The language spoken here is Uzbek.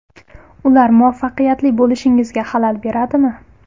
Ular muvaffaqiyatli bo‘lishingizga xalal beradimi?